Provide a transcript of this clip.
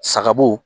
Sagabo